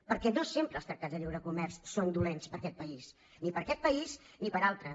perquè no sempre els tractats de lliure comerç són dolents per a aquest país ni per a aquest país ni per a altres